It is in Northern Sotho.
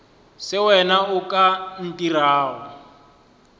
se wena o ka ntirago